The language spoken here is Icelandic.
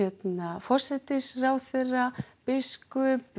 forsætisráðherra biskup